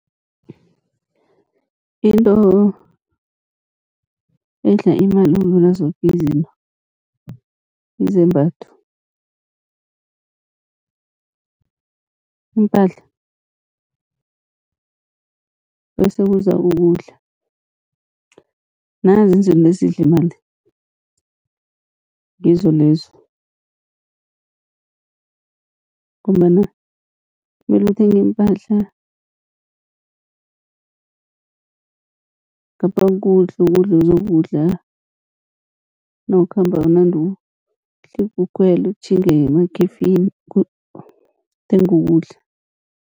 Into edla imali ukudlula zoke izinto izembatho iimpahla, bese kuza ukudla nanzo izinto ezidla, imali ngizo lezo. Ngombana mele uthenge iimpahla ngapha kukudla, ukudla ozokudla nawukhamba unande uhlika ukhwele utjhinge ngemakhefini uthenge ukudla.